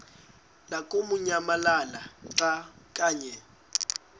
lamukunyamalala xa kanye